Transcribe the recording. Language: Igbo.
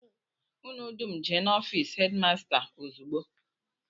Unu dum jee n'ofịịsị hedịmasta ozugbo!